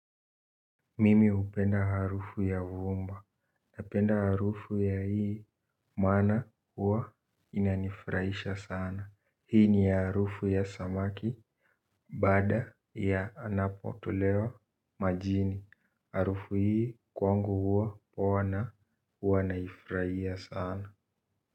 Mimi upenda harufu ya vumba, napenda harufu ya hii, mana huwa inanifrahisha sana, hii ni ya harufu ya samaki, bada ya anapotolewa majini, harufu hii kwangu huwa wanaifrahia sana.